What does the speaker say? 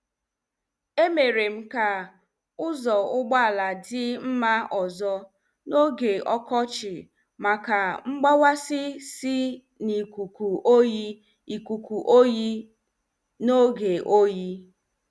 E merem ka ụzọ ụgbọala dị mma ọzọ n' oge ọkọchị maka mgbawasi si n' ikuku oyi ikuku oyi n' oge oyi.